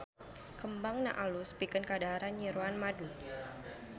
Kembangna alus pikeun kadaharan nyiruan madu.